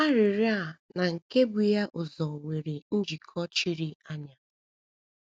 Arịrịọ a na nke bu ya ụzọ nwere njikọ chiri anya.